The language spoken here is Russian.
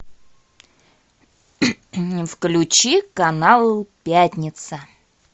включи канал пятница